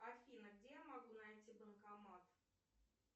афина где я могу найти банкомат